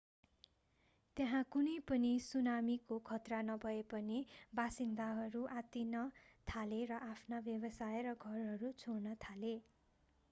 त्यहाँ कुनै पनि सुनामीको खतरा नभए पनि बासिन्दाहरू आत्तिन थाले र आफ्ना व्यवसाय र घरहरू छोड्न थाले